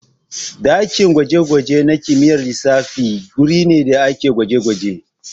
Ɗakin gwaje-gwaje na kimiyyar lissafi guri ne da ake gwaje-gwaje.